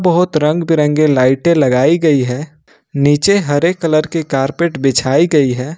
बहुत रंग बिरंगे लाइटें लगाई गई है नीचे हरे कलर के कारपेट बिछाई गई है।